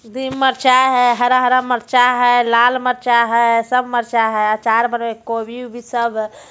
दिह मरचा है हरा हरा मरचा है लाल मरचा है सब मरचा है अचार बनावेला कोबी बोबी सब है।